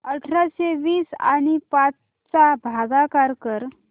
अठराशे वीस आणि पाच यांचा भागाकार कर